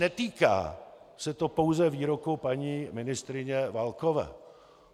Netýká se to pouze výroku paní ministryně Válkové.